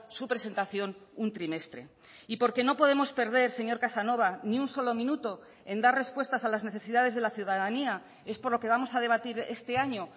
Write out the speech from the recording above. su presentación un trimestre y porque no podemos perder señor casanova ni un solo minuto en dar respuestas a las necesidades de la ciudadanía es por lo que vamos a debatir este año